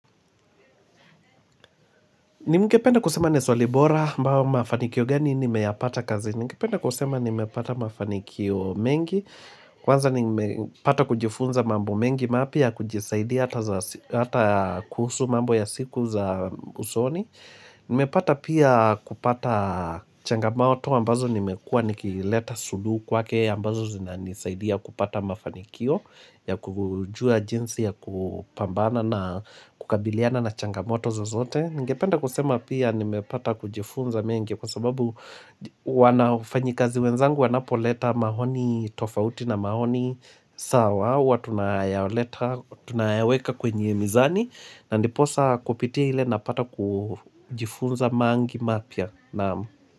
Nimgependa kusema ni swali bora ambao mafanikio gani nimeyapata kazi. Nimgependa kusema ni mepata mafanikio mengi. Kwanza nimepata kujifunza mambo mengi mapya kujisaidia hata kuhusu mambo ya siku za usoni. Nimepata pia kupata changamoto ambazo nimekua nikileta suluhu wake ambazo zina nisaidia kupata mafanikio ya kujua jinsi ya kupambana na kukabiliana na changamoto zozote. Ningependa kusema pia nimepata kujifunza mengi kwa sababu wanafanyikazi wenzangu wanapoleta maoni tofauti na mahoni sawa Watunayaweka kwenye mizani na ndiposa kupitia ile napata kujifunza mengi mapysla naam.